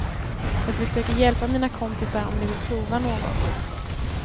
Jag försöker hjälpa mina kompisar om de vill prova något.